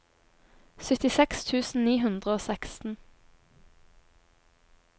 syttiseks tusen ni hundre og seksten